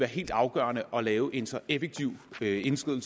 helt afgørende at lave en så effektiv indskriden